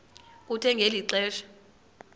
kuthe ngeli xesha